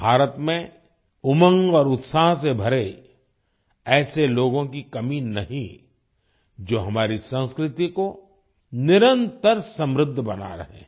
भारत में उमंग और उत्साह से भरे ऐसे लोगों की कमी नहीं जो हमारी संस्कृति को निरंतर समृद्ध बना रहे हैं